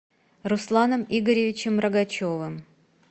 русланом игоревичем рогачевым